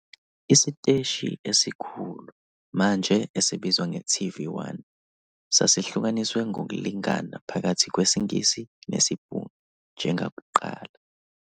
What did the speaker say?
Isiteshi esikhulu, manje esibizwa nge-TV1, sasihlukaniswe ngokulingana phakathi kwesiNgisi nesiBhunu, njengakuqala.